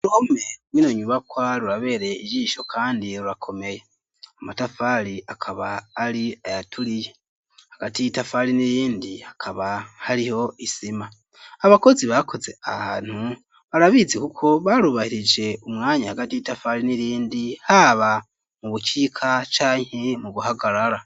Uruhome rwino nyubakwa rurabereye ijisho kandi rurakomeye amatafari akaba ari ayatuliye agati tafari n'irindi akaba haliho isima abakozi bakoze a hanthu barabizi kuko barubahilije umwanya agati tafari n'rlindi haba mu bucika canke mu buhagarara.